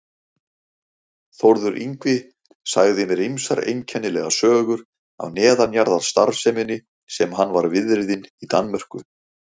Þórður Yngvi sagði mér ýmsar einkennilegar sögur af neðanjarðarstarfseminni sem hann var viðriðinn í Danmörku.